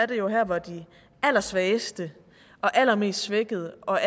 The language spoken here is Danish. det jo her hvor de allersvageste og allermest svækkede og